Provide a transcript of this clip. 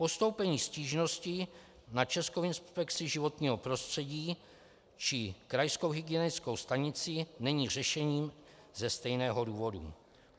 Postoupení stížnosti na Českou inspekci životního prostředí či krajskou hygienickou stanici není řešením ze stejného důvodu.